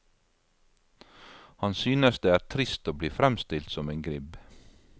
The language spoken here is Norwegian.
Han synes det er trist å bli fremstilt som en gribb.